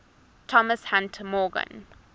thomas hunt morgan